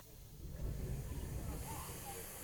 установи тысяча девятьсот сорок два